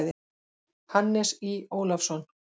Hannes Í. Ólafsson.